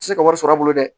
Se ka wari sɔrɔ a bolo dɛ